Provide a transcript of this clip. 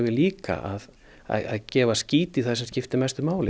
líka að gefa skít í það sem skiptir mestu máli